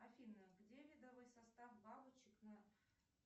афина где рядовой состав бабочек на